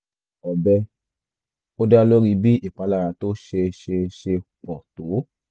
ọ̀bẹ - ó dá lórí bí ìpalára tó ṣe ṣe ṣe pọ̀ tó